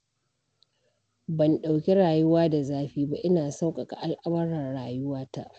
Ban ɗauki rayuwa da zafi ba, ina sauƙaƙa al'amuran rayuwata.